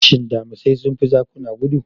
Shin Damisai sun fi zakuna gudu?